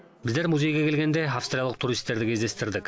біздер музейге келгенде австриялық туристерді кездестірдік